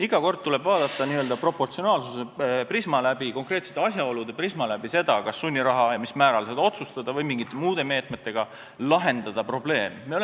Iga kord tuleb vaadata läbi n-ö proportsionaalsuse prisma, läbi konkreetsete asjaolude prisma seda, kas sunniraha määrata ja mil määral määrata või saab probleemi lahendada mingite muude meetmetega.